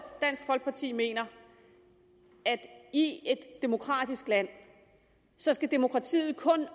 dansk folkeparti mener at i et demokratisk land skal demokratiet kun